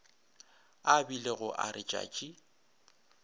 a bilego a re tšatši